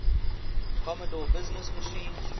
commodore business machines